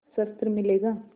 शस्त्र मिलेगा